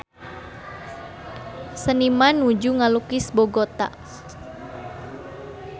Seniman nuju ngalukis Bogota